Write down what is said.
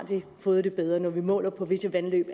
fået det bedre når vi måler på visse vandløb